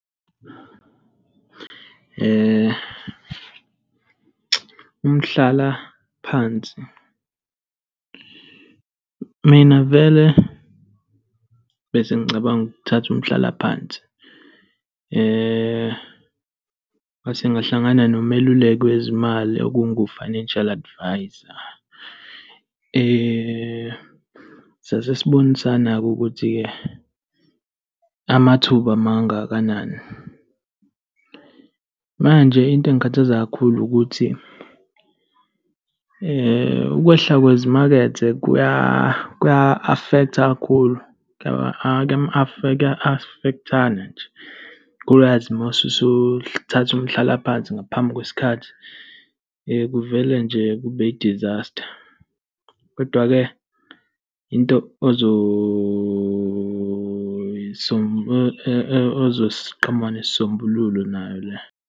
Umhlalaphansi, mina vele bese ngicabanga ukuthatha umhlalaphansi. Ngase ngahlangana nomeluleki wezimali, okungu-financial advisor. Sase sibonisana-ke ukuthi amathuba mangakanani. Manje into engikhathaza kakhulu ukuthi ukwehla kwezimakethe kuya kuya-afektha kakhulu, kuya-afekthana nje, kakhulukazi mase usuthatha umhlalaphansi ngaphambi kwesikhathi kuvele nje kube i-disaster. Kodwa-ke into ozosiqhamuka nesisombululo nayo leyo.